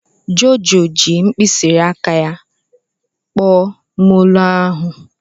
Jojo ji mkpịsị aka ya kpọọ molo ahu.